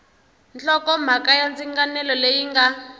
nhlokomhaka ya ndzinganelo leyi nga